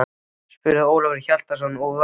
spurði Ólafur Hjaltason og var brugðið.